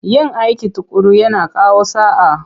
Yin aiki tuƙuru yana kawo sa'a.